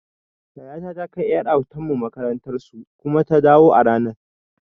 Yayata ta kai ƴar autan mu makarantar su kuma ta dawo a ranan